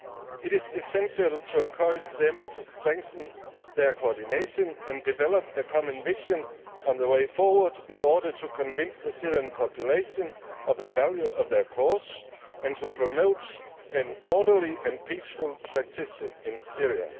It is essential to encourage them to strengthen their coordination and develop a common vision on the way forward in order to convince the Syrian population of the value of their cause and to promote an orderly and peaceful transition in Syria.